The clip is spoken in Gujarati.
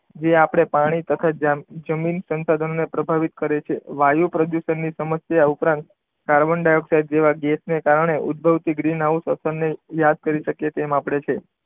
જે આપણે પાણી તથા જમીન સંસાધનો ની પ્રભાવિત કરે છે. વાયુ પ્રદુષણ ની સમસ્યા ઉપરાંત કાર્બન ડાયોક્સાઇડ જેવા ગેસને કારણે ઉદભવતી ગ્રીન હાઉસ અસરને યાદ કરી શકીએ આપણે તેમ છે.